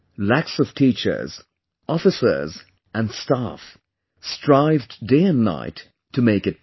Lakhs of teachers, officers & staff strived day & night to make it possible